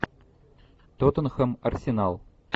тоттенхэм арсенал